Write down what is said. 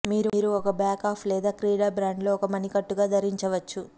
మీరు ఒక back up లేదా క్రీడ బ్యాండ్ లో ఒక మణికట్టు గా ధరించవచ్చు